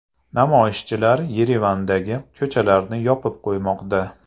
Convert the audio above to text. Namoyishchilar Yerevandagi ko‘chalarni yopib qo‘ymoqda.